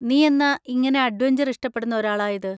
നീ എന്നാ ഇങ്ങനെ അഡ്വെഞ്ചർ ഇഷ്ടപ്പെടുന്ന ഒരാളായത്?